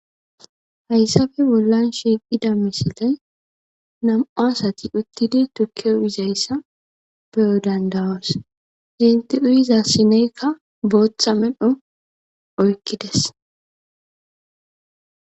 Haysafe bollan shiqida misilean nam'u asati utidi turke uyizaysa beyo dand'aoso eti uyiza sinesekka botha medho oykides